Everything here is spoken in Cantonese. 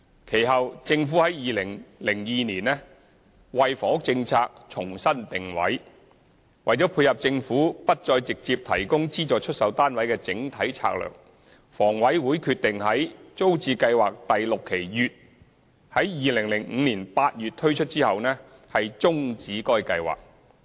其後，政府於2002年為房屋政策重新定位，為配合政府不再直接提供資助出售單位的整體策略，房委會決定在"租置計劃第六期乙"於2005年8月推出後，終止該計劃。